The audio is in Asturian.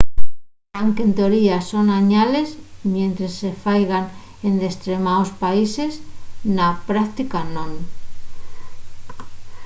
anque en teoría son añales mientres se faigan en destremaos países na práctica non